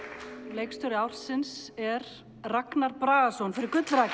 leikstjóri ársins er Ragnar Bragason fyrir